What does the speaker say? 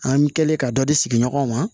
An kɛlen ka dɔ di sigiɲɔgɔnw ma